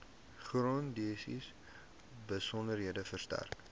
grondeise besonderhede verstrek